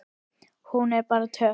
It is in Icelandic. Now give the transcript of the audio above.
Hún er bara töff.